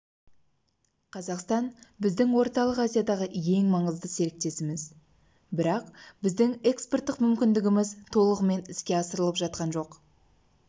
қазақстан біздің орталық азиядағы ең маңызды серіктесіміз бірақ біздің экспорттық мүмкіндігіміз толығымен іске асырылып жатқан жоқ